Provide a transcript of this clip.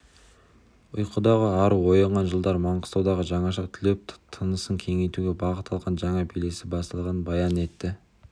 ұйқыдағы ару оянған жылдар маңғыстаудың жаңаша түлеп тынысын кеңейтуге бағыт алған жаңа белесі басталғанын баян етті